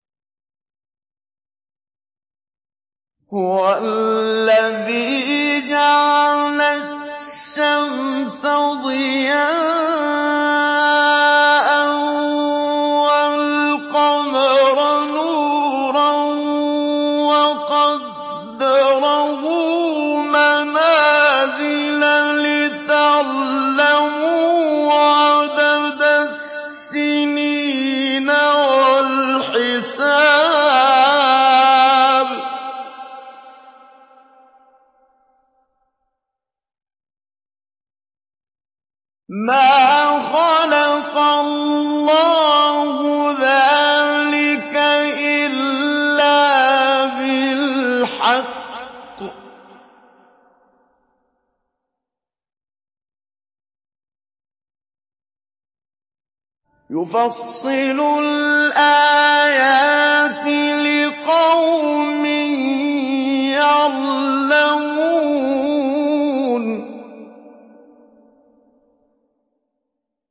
هُوَ الَّذِي جَعَلَ الشَّمْسَ ضِيَاءً وَالْقَمَرَ نُورًا وَقَدَّرَهُ مَنَازِلَ لِتَعْلَمُوا عَدَدَ السِّنِينَ وَالْحِسَابَ ۚ مَا خَلَقَ اللَّهُ ذَٰلِكَ إِلَّا بِالْحَقِّ ۚ يُفَصِّلُ الْآيَاتِ لِقَوْمٍ يَعْلَمُونَ